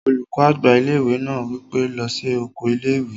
Olùkọ́ àgbà ilé-ìwé náà wí pé, "lọ sí oko ilé-ìwé!"